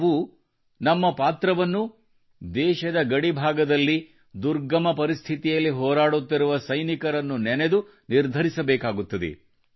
ನಾವೂ ನಮ್ಮ ಪಾತ್ರವನ್ನು ದೇಶದ ಗಡಿ ಭಾಗದಲ್ಲಿ ದುರ್ಗಮ ಪರಿಸ್ಥಿತಿಯಲ್ಲಿ ಹೋರಾಡುತ್ತಿರುವ ಸೈನಿಕರನ್ನು ನೆನೆದು ನಿರ್ಧರಿಸಬೇಕಾಗುತ್ತದೆ